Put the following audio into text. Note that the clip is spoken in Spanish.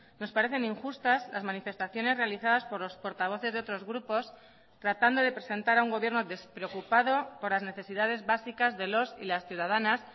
nos parecen injustas las manifestaciones realizadas por los portavoces de otros grupos tratando de presentar a un gobierno despreocupado por las necesidades básicas de los y las ciudadanas